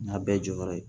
N y'a bɛɛ jɔyɔrɔ ye